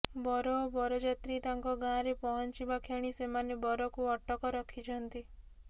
ବର ଓ ବରଯାତ୍ରୀ ତାଙ୍କ ଗାଁରେ ପହଞ୍ଚିବା କ୍ଷଣି ସେମାନେ ବରକୁ ଅଟକ ରଖିଛନ୍ତି